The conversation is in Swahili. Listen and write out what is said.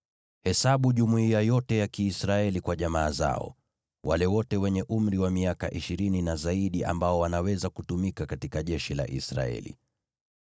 “Hesabu jumuiya yote ya Kiisraeli kwa jamaa zao, wale wote wenye umri wa miaka ishirini na zaidi, ambao wanaweza kutumika katika jeshi la Israeli.”